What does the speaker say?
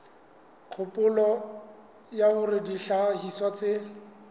kgopolo ya hore dihlahiswa tse